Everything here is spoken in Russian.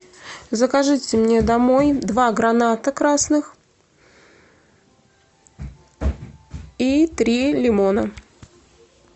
закажите мне домой два граната красных и три лимона